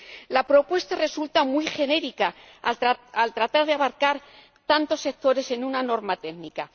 La propuesta resulta muy genérica al tratar de abarcar tantos sectores en una norma técnica.